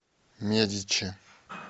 медичи